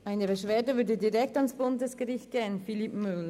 Eine Beschwerde würde direkt ans Bundesgericht gehen, Philippe Müller.